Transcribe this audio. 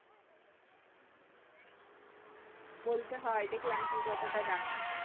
বলতে হয় দেখলাম তুই কতটা জানিস